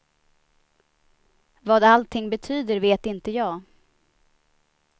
Vad allting betyder vet inte jag.